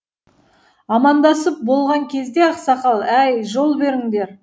амандасып болған кезде ақсақал әй жол беріңдер